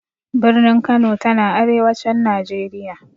Birnin Kano ta na arewacin Najeriya.